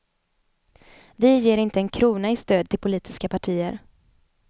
Vi ger inte en krona i stöd till politiska partier.